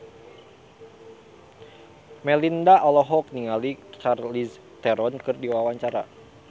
Melinda olohok ningali Charlize Theron keur diwawancara